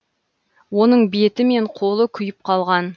оның беті мен қолы күйіп қалған